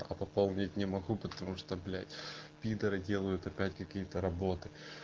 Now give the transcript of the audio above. пополнить не могу потому что блять пидоры делают опять какие-то работы